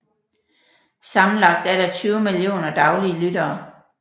Sammenlagt er der 20 millioner daglige lyttere